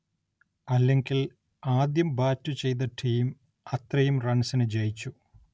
അല്ലെങ്കിൽ ആദ്യം ബാറ്റു ചെയ്ത ടീം അത്രയും റൺസിനു ജയിച്ചു.